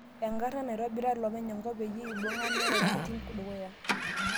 Enkarana naitobira ilopeny enkop peyie ibung'a nereu entiim dukuya